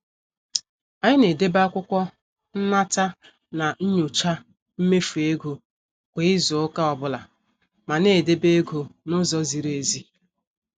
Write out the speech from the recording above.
Anyị na- edebe akwụkwọ nnata na nyocha mmefu ego kwa izu ụka ọbụla mana e debe ego n' ụzọ ziri ezi.